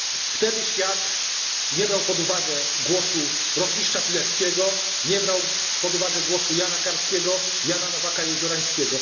Wtedy świat nie brał pod uwagę głosu rotmistrza Pileckiego, nie brał pod uwagę głosu Jana Karskiego, Jana Nowaka Jeziorańskiego.